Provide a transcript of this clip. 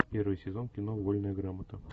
первый сезон кино вольная грамота